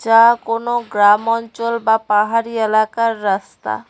কোনো গ্রাম অঞ্চল বা পাহাড়ি এলাকার রাস্তা।